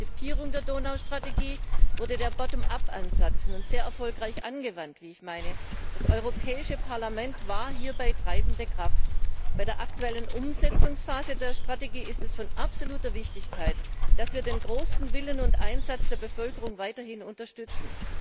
Bei der Konzipierung der Strategie für die Donauregion wurde der Bottom up Ansatz nun sehr erfolgreich angewandt, wie ich meine. Das Europäische Parlament war hierbei treibende Kraft. In der aktuellen Umsetzungsphase der Strategie ist es absolut wichtig, dass wir den großen Willen und Einsatz der Bevölkerung weiterhin unterstützen.